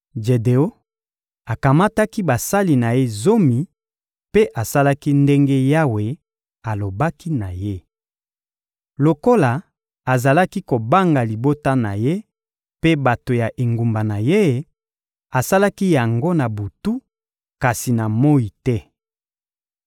Jedeon akamataki basali na ye zomi mpe asalaki ndenge Yawe alobaki na ye. Lokola azalaki kobanga libota na ye mpe bato ya engumba na ye, asalaki yango na butu, kasi na moyi te.